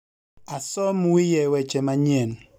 asom wiye weche manyien